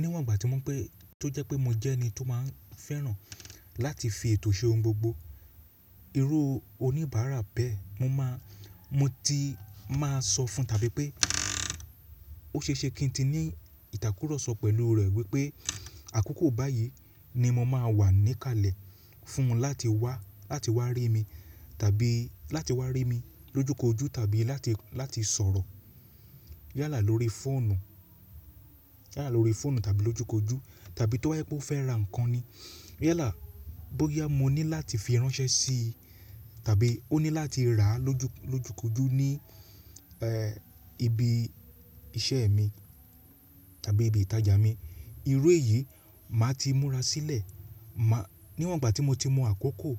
Níwọ̀n ìgbà tí mo pé tó jẹ́ pé mo jẹ́ ẹni tó máa ń fẹ́ràn láti fi ètò ṣe ohun gbogbo, irú oníbàárà bẹ́ẹ̀ mo máa, mo ti máa sọ fún tàbí pé ó ṣe é ṣe kí n ti ní ìtàkúrọ̀sọ pẹ̀lú rẹ̀ wípé àkókò báyìí ni mo máa wà níkàlẹ̀ fún un láti wá, láti wá rí mi tàbí láti wá rí mi lójú kojú tàbí láti, láti sọ̀rọ̀ yálà lórí fóònù, yálà lórí fóònù tàbí lójú kojú tàbí tó jẹ́ pé ó fẹ́ ra nǹkan ni, yálà bóyá mo ní láti fi ránṣẹ́ sí i tàbí ó ní láti rà á lójú, lójú kojú ní ẹ́ ibi iṣẹ́ mi tàbí ibi ìtajà mi. Irú èyí màá ti múra sílẹ̀. Màá níwọ̀n ìgbà tí mo ti mọ àkókò